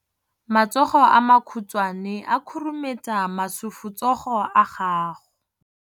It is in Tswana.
Matsogo a makhutshwane a khurumetsa masufutsogo a gago.